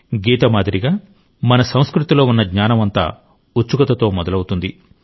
గీత మాదిరిగా మన సంస్కృతిలో ఉన్న జ్ఞానం అంతా ఉత్సుకతతో మొదలవుతుంది